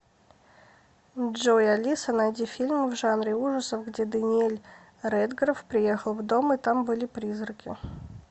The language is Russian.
джой алиса найди фильм в жанре ужасов где даниэль редграф приехал в дом и там были призраки